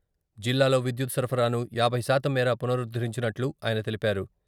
జిల్లాలో విద్యుత్ సరఫరాను యాభై శాతం మేర పునరుద్దరించినట్లు ఆయన తెలిపారు.